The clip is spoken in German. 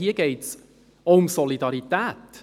: Hier geht es auch um die Solidarität.